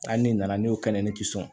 Hali ni nana ne y'o kɛnɛ ne tɛ sɔn